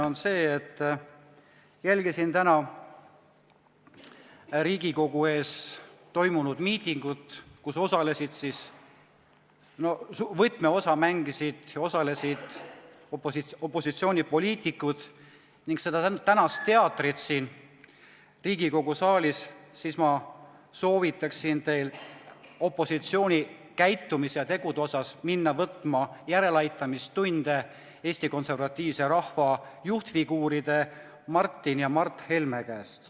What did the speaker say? Olles jälginud täna Riigikogu ees toimunud miitingut, milles osalesid ja mängisid võtmeosa opositsioonipoliitikud, ning seda tänast teatrit siin Riigikogu saalis, soovitaksin opositsioonil võtta käitumise ja tegude osas järeleaitamistunde Eesti Konservatiivse Rahvaerakonna juhtfiguuride Martin ja Mart Helme käest.